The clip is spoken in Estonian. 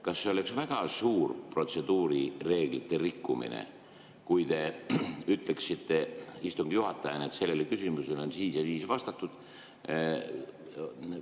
Kas see oleks väga suur protseduurireeglite rikkumine, kui te ütleksite istungi juhatajana, et sellele küsimusele on vastatud?